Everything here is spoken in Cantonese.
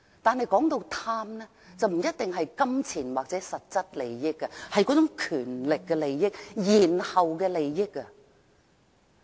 但是，貪不一定牽涉金錢或實質利益，而是那種權力的利益，延後的利益。